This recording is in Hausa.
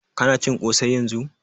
Ka na cin ƙosai yanzun?